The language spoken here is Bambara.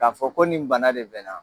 K'a fɔ ko nin bana de bɛ n na.